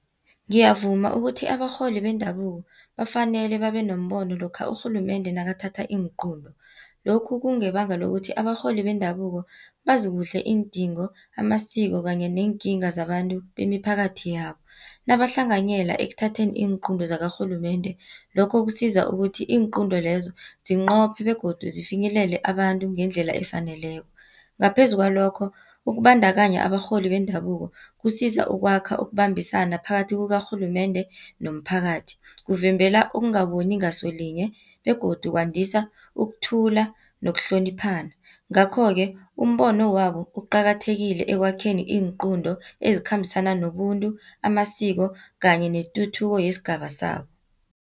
Ngiyavuma ukuthi abarholi bendabuko, bafanele babe nombono lokha urhulumende nakathatha iinqunto. Lokhu kungebanga lokuthi, abarholi bendabuko bazikuhle iindingo, amasiko kanye neenkinga zabantu bemiphakathi yabo. Nabahlanganyela ekuthatheni iinqunto zakarhulumende, lokho kusiza ukuthi iinqunto lezo zinqophe, begodu zifinyelele abantu ngendlela efaneleko. Ngaphezu kwalokho, ukubandakanya abarholi bendabuko, kusiza ukwakha, ukubambisana, phakathi kukarhulumende nomphakathi. Kuvimbela ukungaboni ngasolinye, begodu kwandisa ukuthula, nokuhloniphana. Ngakho-ke, umbono wabo uqakathekile, ekwakheni iinqunto ezikhambisana nobuntu, amasiko kanye netuthuko yesigaba sabo.